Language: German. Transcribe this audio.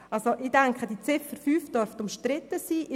Ich gehe davon aus, dass die Ziffer 5 umstritten sein wird.